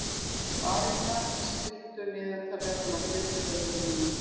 Arína, stilltu niðurteljara á fjörutíu og níu mínútur.